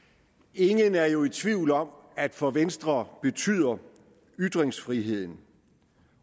ingen er jo i tvivl om at for venstre betyder ytringsfriheden